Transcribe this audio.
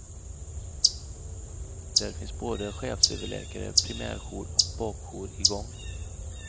Där finns både chefsöverläkare, primärjour och bakjour igång.